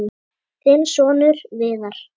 Þinn sonur, Viðar.